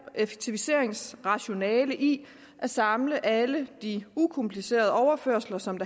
effektiviseringsrationale i at samle alle de ukomplicerede overførsler som